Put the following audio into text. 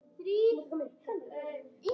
Þið vitið.